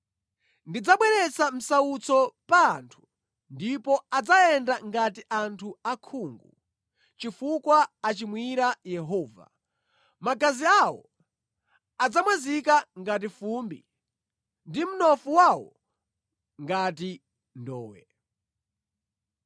Ndidzabweretsa msautso pa anthu ndipo adzayenda ngati anthu osaona, chifukwa achimwira Yehova, magazi awo adzamwazika ngati fumbi ndi mnofu wawo ngati ndowe.